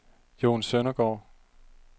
Jon Søndergaard